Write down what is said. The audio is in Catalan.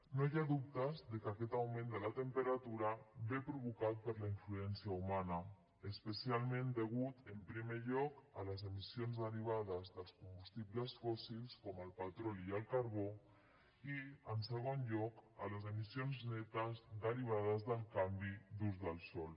no hi ha dubte que aquest augment de la temperatura ve provocat per la influència humana especialment a causa en primer lloc de les emissions derivades dels combustibles fòssils com el petroli i el carbó i en segon lloc de les emissions netes derivades del canvi d’ús del sòl